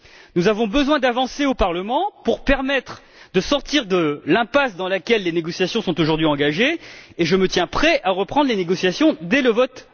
Nous avons besoin d'avancées au Parlement pour permettre de sortir de l'impasse dans laquelle les négociations sont aujourd'hui engagées, et je me tiens prêt à reprendre les négociations immédiatement après le vote.